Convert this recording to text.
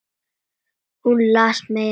Hún les meira en allir.